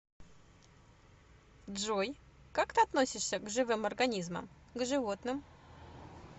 джой как ты относишься к живым организмам к животным